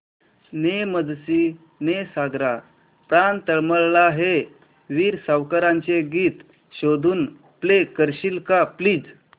ने मजसी ने सागरा प्राण तळमळला हे वीर सावरकरांचे गीत शोधून प्ले करशील का प्लीज